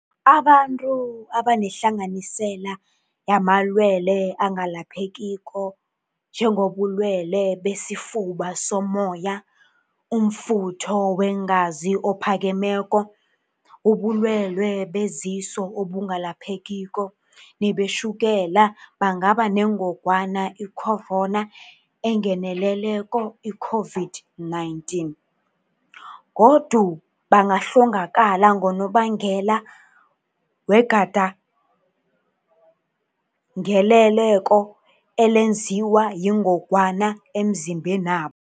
Abantu abanehlanganisela yamalwele angelaphekiko njengobulwelebesifuba sommoya, umfutho weengazi ophakemeko, ubulwele beziso obungelaphekiko nebetjhukela bangaba nengogwana i-corona engeneleleko, i-COVID-19, godu bangahlongakala ngonobangela wegandeleleko elenziwa yingogwana emzimbenabo.